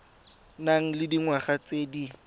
nang le dingwaga tse di